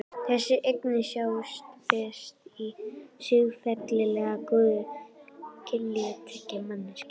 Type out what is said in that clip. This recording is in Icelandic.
Þessi eining sjáist best í siðferðilega góðu kynlífi tveggja manneskja.